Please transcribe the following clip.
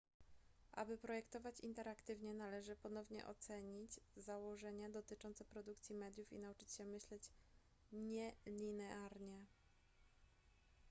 aby projektować interaktywnie należy ponownie ocenić założenia dotyczące produkcji mediów i nauczyć się myśleć nielinearnie